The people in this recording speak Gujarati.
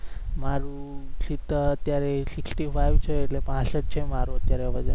મારું સીત્તેર અત્યારે sixty five છે એટલે પાસટ છે મારું અત્યારે વજન